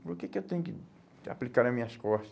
Por que que eu tenho que aplicar nas minhas costa?